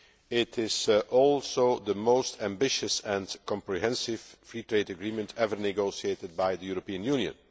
it is also the most ambitious and comprehensive free trade agreement ever negotiated by the European Union.